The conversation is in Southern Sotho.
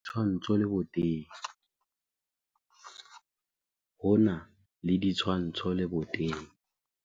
ho na le ditshwantsho leboteng